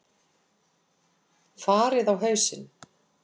Farið á hausinn!